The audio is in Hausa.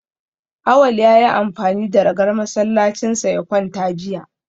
Awal ya yi amfani da ragar masallacinsa ya kwanta jiya